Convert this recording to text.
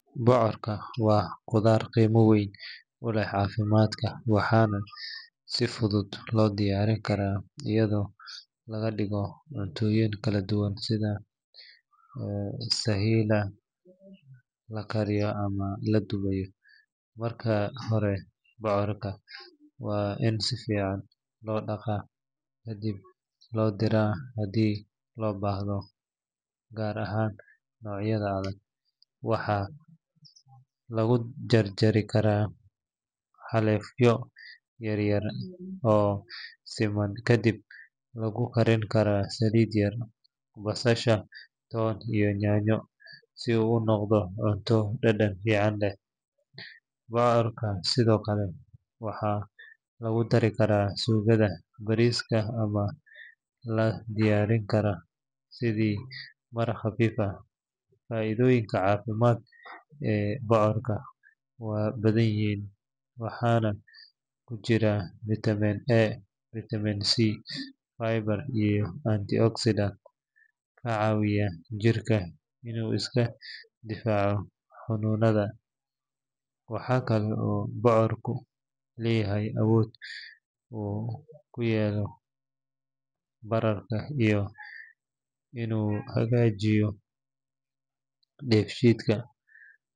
Bocorka waa khudrad qiimo weyn u leh caafimaadka waxaana si fudud loo diyaarin karaa iyadoo laga dhigo cuntooyin kala duwan sida shiilan, la kariyay ama la dubay. Marka hore bocorka waa in si fiican loo dhaqaa kadibna la diiraa haddii loo baahdo, gaar ahaan noocyada adag. Waxaa lagu jarjari karaa xaleefyo yaryar oo siman kadibna lagu karin karaa saliid yar, basasha, toon iyo yaanyo si uu u noqdo cunto dhadhan fiican leh. Bocorka sidoo kale waxaa lagu dari karaa suugada bariiska ama la diyaarin karaa sidii maraq khafiif ah. Faa’iidooyinka caafimaad ee bocorka waa badan yihiin, waxaana ku jira vitamin A, vitamin C, fiber iyo antioxidants ka caawiya jirka inuu iska difaaco xanuunnada. Waxaa kale oo bocorku leeyahay awood uu ku yareeyo bararka iyo inuu hagaajiyo dheefshiidka.